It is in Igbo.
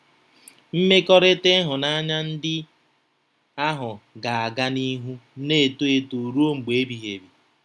Mmekọrịta ịhụnanya ndị ahụ ga-aga n'ihu na-eto eto ruo mgbe ebighị ebi.